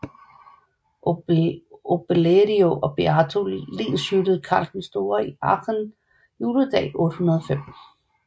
Obelerio og Beato lenshyldede Karl den Store i Aachen juledag 805